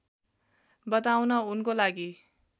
बताउन उनको लागि